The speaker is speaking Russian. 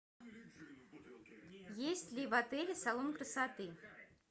есть ли в отеле салон красоты